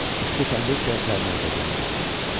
İsti təndir çörəklərini Aytəkinə uzatdı.